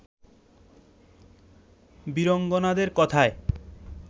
বীরাঙ্গনাদের কথায়